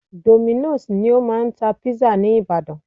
Dominos ni o máà ń tá pizza ní ìbàdàn.